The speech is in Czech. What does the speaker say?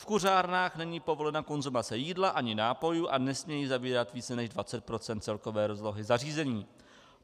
V kuřárnách není povolena konzumace jídla ani nápojů a nesmějí zabírat více než 20 % celkové rozlohy zařízení.